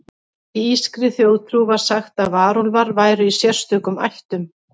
Í írskri þjóðtrú var sagt að varúlfar væru í sérstökum ættum.